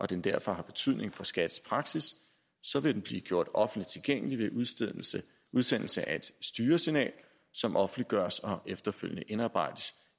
den derfor har betydning for skats praksis så vil den blive gjort offentligt tilgængelig ved udsendelse udsendelse af et styresignal som offentliggøres og efterfølgende indarbejdes